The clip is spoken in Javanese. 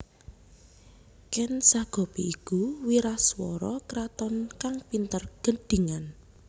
Ken Sagopi iku wiraswara kraton kang pinter gendhingan